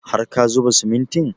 Har ka zuba simintin?